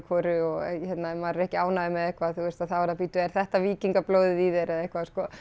hvoru og ef maður er ekki ánægður með eitthvað þá er það bíddu er þetta víkingablóðið í þér eða eitthvað sko